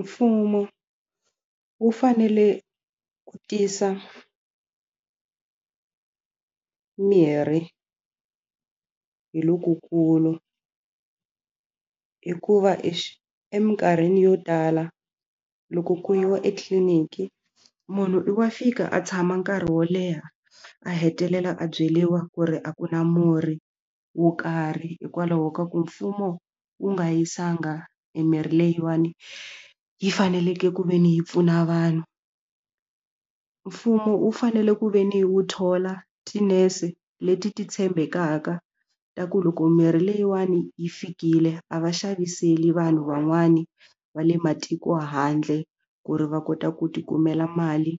Mfumo wu fanele ku tisa mirhi hi lokukulu hikuva eminkarhini yo tala loko ku yiwa etliliniki munhu i wa fika a tshama nkarhi wo leha a hetelela a byeriwa ku ri a ku na murhi wo karhi hikwalaho ka ku mfumo wu nga yisiwanga mimirhi leyiwani yi faneleke ku ve ni yi pfuna vanhu mfumo wu fanele ku ve ni wu thola tinese leti ti tshembekaka ta ku loko mirhi leyiwani yi fikile a va xaviseli vanhu van'wani va le matiko handle ku ri va kota ku ti kumela mali